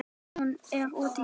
Hún er úti í bíl!